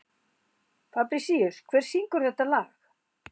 Fabrisíus, hver syngur þetta lag?